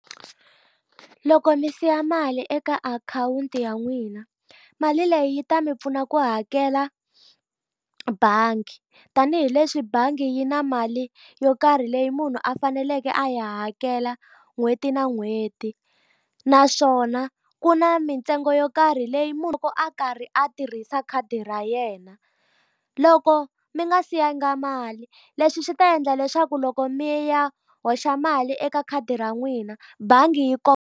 Loko mi siya mali eka akhawunti ya n'wina, mali leyi yi ta mi pfuna ku hakela bangi. Tanihi leswi bangi yi na mali yo karhi leyi munhu a faneleke a yi hakela n'hweti na n'hweti, naswona ku na mintsengo yo karhi leyi munhu loko a karhi a tirhisa khadi ra yena. Loko mi nga si yanga mali, leswi swi ta endla leswaku loko mi ya hoxa mali eka khadi ra n'wina bangi yi .